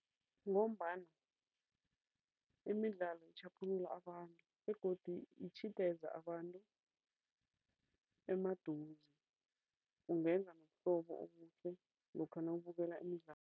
Ngombana imidlalo itjhaphulula abantu begodi itjhideza abantu emaduze, ungenza nobuhlobo obuhle lokha nawubukela imidlalo.